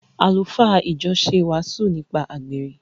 Àlùfáà ìjọ ṣe wàásù nípa àgbèrè.